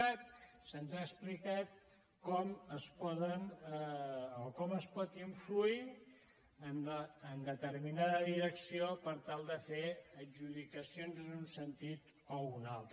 cat se’ns ha explicat com es pot influir en determinada direcció per tal de fer adjudicacions en un sentit o un altre